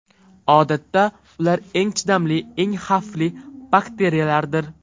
Odatda, ular eng chidamli, eng xavfli bakteriyalardir.